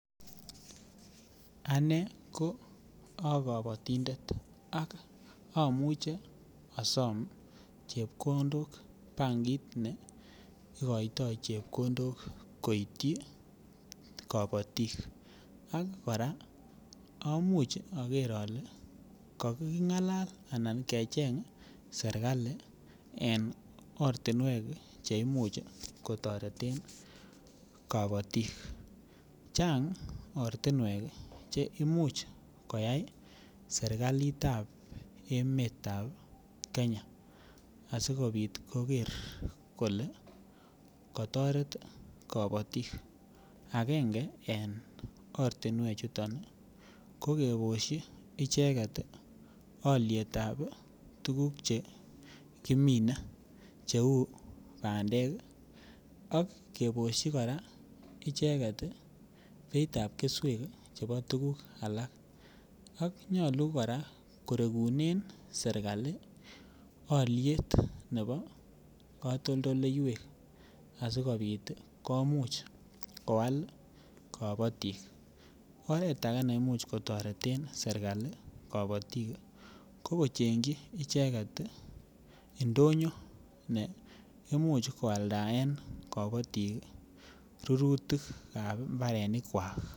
Ane ko a kabatindet ago amuche asom chepkondok en bankit ne igoitoi chepkondok koityi kabatik ak kora komuch ager ale kakingalal anan acheng serkali en ortinwek Che Imuch kotoreten kabatik chang ortinwek Che Imuch koyai serkaliit ab emet ab Kenya asikobit koger kole kotoret kabatik agenge en ortinwechuton ii ko kebosyi icheget alyetab tuguk kimine cheu bandek ii ak kebosyi kora icheget beit ab tuguk alak ak nyolu kora kotegunen serkali alyet nebo katoldoleywek asikobit ii komuch koal kabatik oret age ne Imuch kotoreten serkali kabatik ko kochengji icheget I ndonyo ne Imuch koaldaen kabatik rurutik ab mbarenikwak